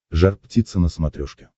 жар птица на смотрешке